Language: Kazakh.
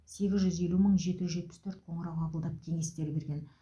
сегіз жүз елу мың жеті жүз жетпіс төрт қоңырау қабылдап кеңестер берген